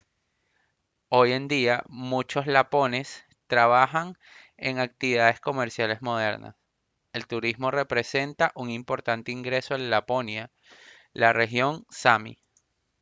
hoy en día muchos lapones trabajan en actividades comerciales modernas el turismo representa un importante ingreso en laponia la región sámi